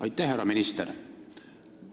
Aitäh, härra minister!